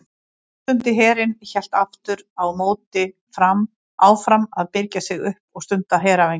Áttundi herinn hélt aftur á móti áfram að birgja sig upp og stunda heræfingar.